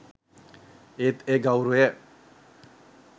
ඒත් ඒ ගෞරවය